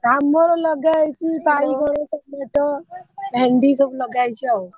ଆମର ଲଗାହେଇଛି ବାଇଗଣ ଟମାଟ ଭେଣ୍ଡି ସବୁ ଲଗା ହେଇଛି ଆଉ।